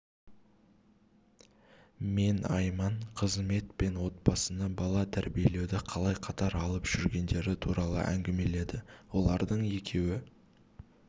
мен айман қызмет пен отбасыны бала тәрбиелеуді қалай қатар алып жүргендері туралы әңгімеледі олардың екеуі